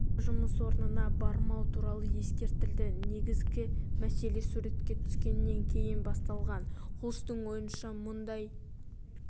оған да жұмыс орнына бармау туралы ескертілді негізгі мәселе суретке түскеннен кейін басталған хулстың ойынша мұндай